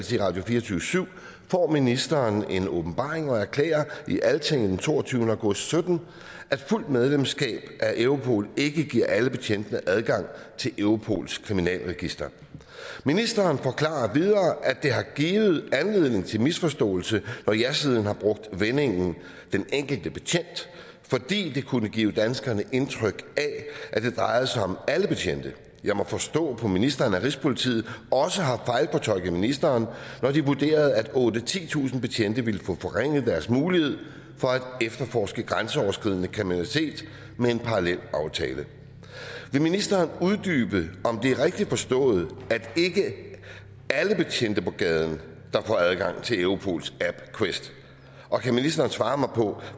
til radio24syv får ministeren en åbenbaring og erklærer i altinget den toogtyvende og sytten at fuldt medlemskab af europol ikke giver alle betjentene adgang til europols kriminalregister ministeren forklarer videre at det har givet anledning til misforståelse når jasiden har brugt vendingen den enkelte betjent fordi det kunne give danskerne indtryk af at det drejede sig om alle betjente jeg må forstå på ministeren at rigspolitiet også har fejlfortolket ministeren når de vurderede at otte tusind titusind betjente ville få forringet deres mulighed for at efterforske grænseoverskridende kriminalitet med en parallelaftale vil ministeren uddybe om det er rigtigt forstået at ikke alle betjente på gaden får adgang til europols app quest og kan ministeren svare mig på